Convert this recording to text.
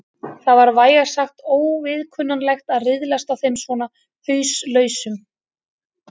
Það var vægast sagt óviðkunnanlegt að riðlast á þeim svona hauslausum.